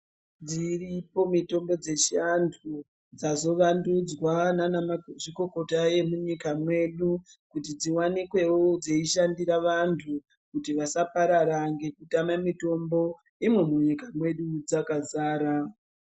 Dziriko mutombo dzechiantu dzayo vandudzwa ndivavana mazvikokota munyika mwedu kuti dziwanikwewo dzichishandira vanymtu kuti vasaparara nekutame mitombo imwo munyika mwedu dzakazara.